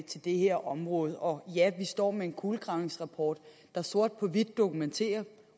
til det her område og ja vi står med en kulegravningsrapport der sort på hvidt dokumenterer